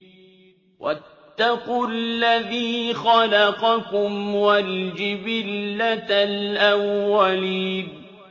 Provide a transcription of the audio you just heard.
وَاتَّقُوا الَّذِي خَلَقَكُمْ وَالْجِبِلَّةَ الْأَوَّلِينَ